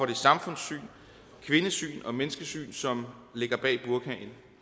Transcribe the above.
det samfundssyn kvindesyn og menneskesyn som ligger bag burkaen